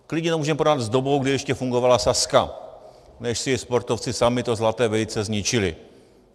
Klidně to můžeme porovnat s dobou, kdy ještě fungovala Sazka, než si sportovci sami to zlaté vejce zničili.